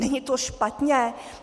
Není to špatně?